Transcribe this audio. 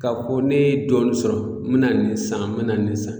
Ka ko ne ye dɔɔnin sɔrɔ n bɛna nin san n bɛna nin san